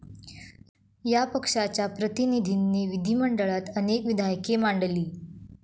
या पक्षाच्या प्रतिनिधींनी विधीमंडळात अनेक विधायके मांडली.